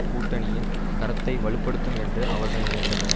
கூட்டணியின் கரத்தை வலு படுத்தும் என்று அவர்கள் நினைத்தனர்